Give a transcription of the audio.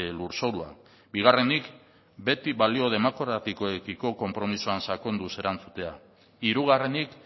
lurzorua bigarrenik beti balio demokratikoekiko konpromisoan sakonduz erantzutea hirugarrenik